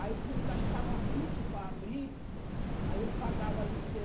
Aí, como gastava muito para abrir, aí eu pagava